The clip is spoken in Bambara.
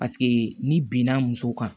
Paseke n'i bin na muso kan